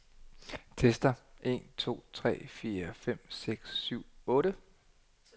Tester en to tre fire fem seks syv otte.